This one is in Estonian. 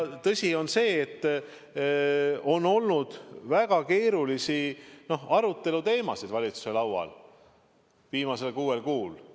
Tõsi on see, et on olnud väga keerulisi aruteluteemasid valitsuse laual viimasel kuuel kuul.